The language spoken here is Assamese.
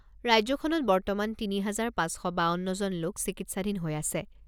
ৰাজ্যখনত বৰ্তমান তিনি হাজাৰ পাঁচ শ বাৱন্নজন লোক চিকিৎসাধীন হৈ আছে।